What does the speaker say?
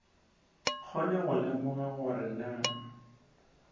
kgone go lemoga gore na